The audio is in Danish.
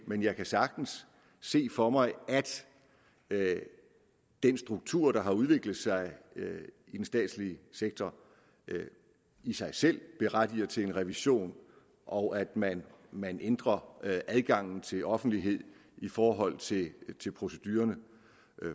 men jeg kan sagtens se for mig at den struktur der har udviklet sig i den statslige sektor i sig selv berettiger til en revision og at man man ændrer adgangen til offentlighed i forhold til til procedurerne